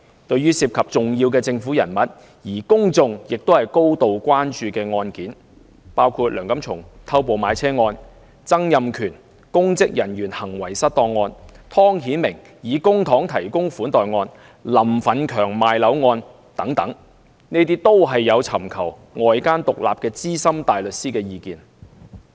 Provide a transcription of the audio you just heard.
對於涉及重要政府人物，而公眾高度關注的案件，包括梁錦松偷步買車案、曾蔭權公職人員行為失當案、湯顯明以公帑提供款待案、林奮強賣樓案等，律政司均有尋求外間獨立的資深大律師意見。